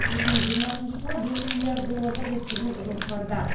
екі мың жиырмасыншы жылы бес миллиард долларға жеткізу жоспарда